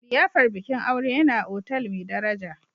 liyafar bikin aure yana a otal mai daraja